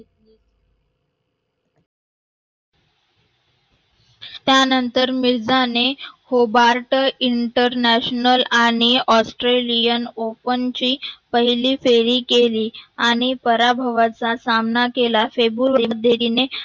त्यानंतर मिर्झा ने hobart International आणि Australia Open ची पहिली फेरी केली आणि पराभवाचा सामना केला.